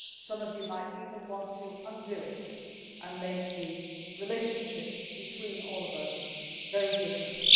Some of you might even want to undo it and make the relationship between all of us very different.